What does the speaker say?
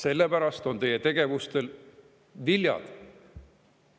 Need on teie tegevuse viljad.